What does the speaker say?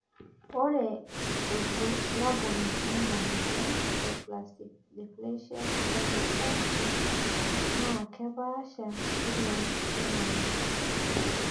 ore irbulabol lena moyian e spastic diplegia cerebral palsy naa kepaasha iloo ltunganak